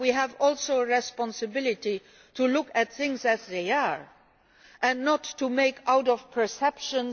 But we also have a responsibility to look at things as they are and not to make a reality from perceptions.